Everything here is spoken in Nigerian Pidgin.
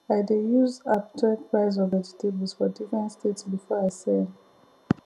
i dey use app check price of vegetables for different state before i sell